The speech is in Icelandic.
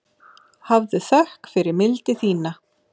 Hafðu þökk fyrir mildi þína.